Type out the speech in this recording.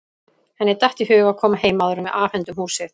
Henni datt í hug að koma heim áður en við afhendum húsið.